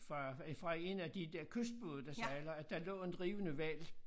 Fra øh fra 1 af de der kystbåde der sejler at der lå en drivende hval